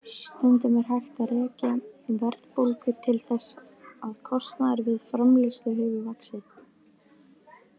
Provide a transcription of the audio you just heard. Stundum er hægt að rekja verðbólgu til þess að kostnaður við framleiðslu hefur vaxið.